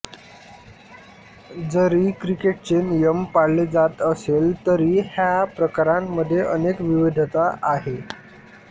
जरी क्रिकेटचे नियम पाळले जात असले तरी ह्या प्रकारांमध्ये अनेक विविधता आहेत